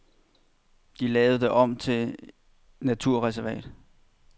De lavede det om til naturreservat.